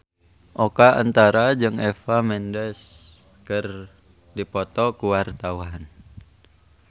Oka Antara jeung Eva Mendes keur dipoto ku wartawan